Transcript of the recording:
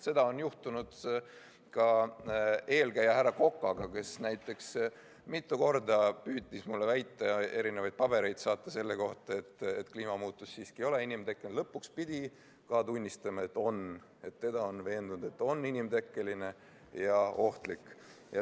Seda juhtus ka tema eelkäija härra Kokaga, et ta mitu korda püüdis mulle väita ja erinevaid pabereid saata selle kohta, et kliimamuutus ei ole inimtekkeline, kuid lõpuks pidi tunnistama, et siiski on, et teda on veendud, et on inimtekkeline ja ohtlik.